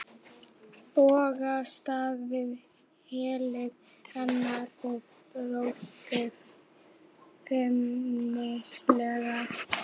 Bogga stóð við hlið hennar og brosti feimnislega.